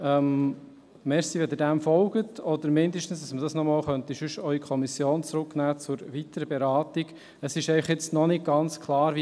Danke, wenn Sie dem folgen oder zumindest ermöglichen, dass wir es zur weiteren Beratung an die Kommission zurückgeben.